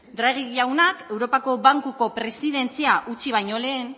draghi jaunak europako bankuko presidentzia utzi baino lehen